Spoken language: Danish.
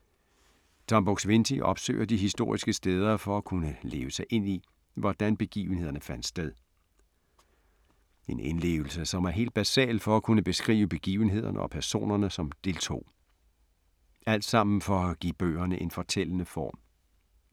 Buk-Swienty opsøger de historiske steder for at kunne leve sig ind i, hvordan begivenhederne fandt sted. En indlevelse, som er helt basal for at kunne beskrive begivenhederne og personerne som deltog. Alt sammen for at give bøgerne en fortællende form.